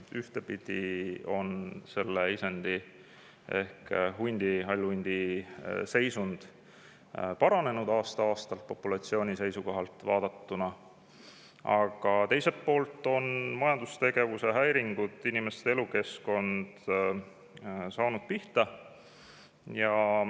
Ühtepidi on ehk hundi, hallhundi seisund aasta-aastalt populatsiooni seisukohalt vaadatuna paranenud, aga teiselt poolt on majandustegevuse häiringud, inimeste elukeskkond on saanud pihta.